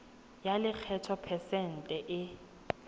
ya lekgetho phesente e